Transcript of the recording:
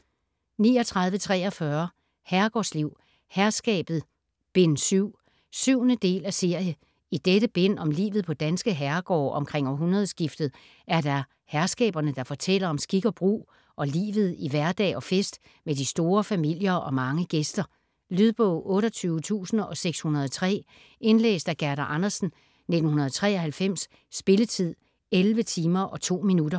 39.43 Herregårdsliv: Herskabet: Bind 7 7. del af serie. I dette bind om livet på danske herregårde omkring århundredskiftet er det herskaberne, der fortæller om skik og brug og livet i hverdag og fest med de store familier og mange gæster. Lydbog 28603 Indlæst af Gerda Andersen, 1993. Spilletid: 11 timer, 2 minutter.